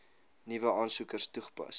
nuwe aansoekers toegepas